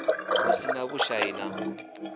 lu si na vhushai na